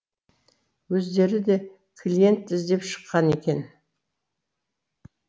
өздері де клиент іздеп шыққан екен